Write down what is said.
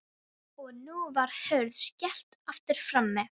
Og nú var hurð skellt aftur frammi.